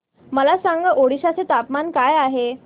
मला सांगा ओडिशा चे तापमान काय आहे